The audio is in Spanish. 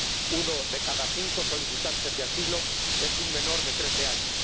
Uno de cada cinco solicitantes de asilo es menor de trece años.